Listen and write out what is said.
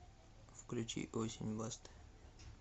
включи осень басты